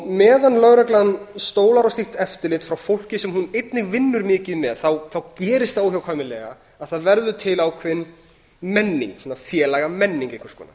meðan lögreglan stólar á slíkt eftirlit frá fólki sem hún einnig vinnur mikið með þá gerist það óhjákvæmilega að það verður til ákveðin menning svona félagamenning einhvers konar